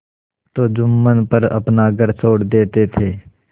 तो जुम्मन पर अपना घर छोड़ देते थे